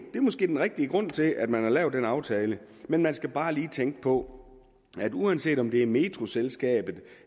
måske den rigtige grund til at man har lavet den aftale men man skal bare lige tænke på at uanset om det er metroselskabet